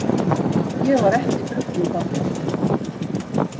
Ég var ekki drukkin þarna.